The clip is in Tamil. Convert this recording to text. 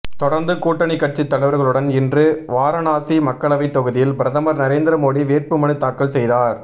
தொடர்ந்து கூட்டணி கட்சி தலைவர்களுடன் இன்று வாரணாசி மக்களவை தொகுதியில் பிரதமர் நரேந்திரமோடி வேட்பு மனுதாக்கல் செய்தார்